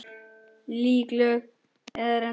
Líkönin eru ólík.